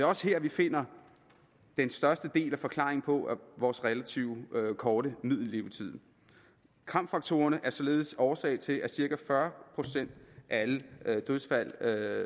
også her at vi finder den største del af forklaringen på vores relativt korte middellevetid kram faktorerne er således årsag til cirka fyrre procent af alle dødsfald